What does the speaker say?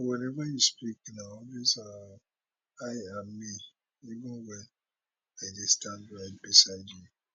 but whenever you speak na always um i and me even wen i dey stand right beside you